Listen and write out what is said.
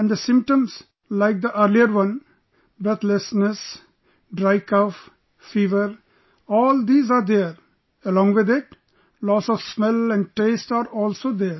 And the symptoms...like the earlier one...breathlessness, dry cough, fever...all these are there...along with it, loss of smell and taste are also there